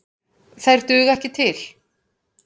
Þær duga ekki til.